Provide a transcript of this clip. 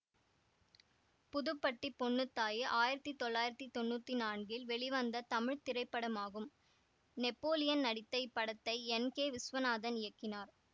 புதுப்பட்டி பொன்னுத்தாயி ஆயிரத்தி தொள்ளாயிரத்தி தொன்னூத்தி நான்கில் வெளிவந்த தமிழ் திரைப்படமாகும் நெப்போலியன் நடித்த இப்படத்தை என் கே விஸ்வநாதன் இயக்கினார்